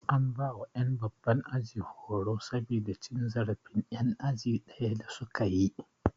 An bawa ƴan babban aji horo yau saboda cin zarafin ƴan aji ɗaya da su kayi